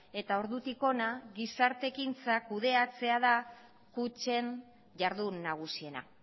eta ordutik hona gizarte ekintza kudeatzea da kutxen jardun nagusiena